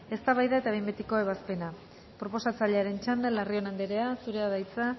eztabaida eta behin betiko ebazpena proposatzailearen txanda larrion andrea zurea da hitza